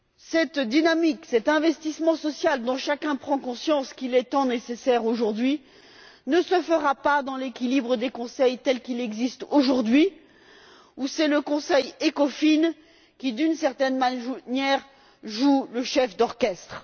Cette dynamique, cet investissement social dont chacun prend conscience, qui est tant nécessaire aujourd'hui, ne se fera pas dans l'équilibre des conseils tels qu'ils existent aujourd'hui où c'est le Conseil ECOFIN qui, d'une certaine manière, joue le chef d'orchestre.